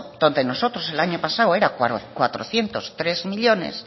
donde nosotros el año pasado era cuatrocientos tres millónes